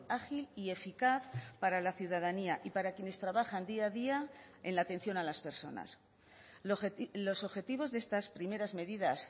ágil y eficaz para la ciudadanía y para quienes trabajan día a día en la atención a las personas los objetivos de estas primeras medidas